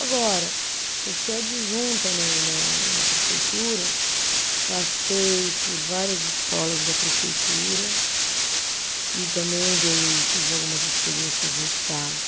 Agora, eu sou adjunta na na na prefeitura, passei por várias escolas da prefeitura e também dei, tive algumas experiências no estado.